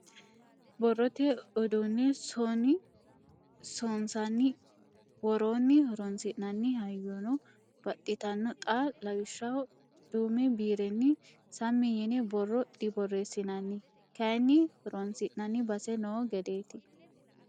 Borrote uduune soni sonissanni woroni horonsi'nanni hayyono baxxittano xa lawishshaho duume biirenni sammi yine borro diborreesinanni ,kayinni horonsi'nanni base no gedeti.